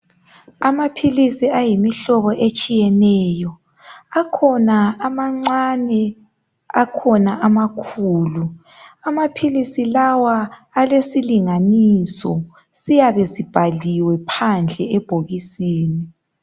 Amaphilisi ayimihlobo etshiyeneyo. Akhona amancane akhona amakhulu. Amaphilisi lawa alesilinganiso siyabe sibhaliwe phandle ebhokisini.